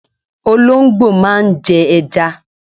Olóńgbò máa ń jẹ ẹja.